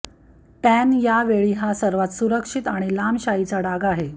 tan या वेळी हा सर्वात सुरक्षित आणि लांब शाईचा डाग आहे